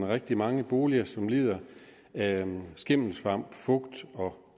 rigtig mange boliger som lider af skimmelsvamp fugt og